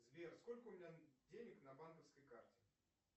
сбер сколько у меня денег на банковской карте